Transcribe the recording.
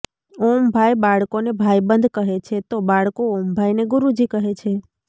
ઓમભાઇ બાળકોને ભાઇબંધ કહે છે તો બાળકો ઓમભાઇને ગુરૂજી કહે છે